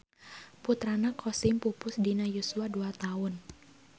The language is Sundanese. Putrana Qasim pupus dina yuswa dua taun.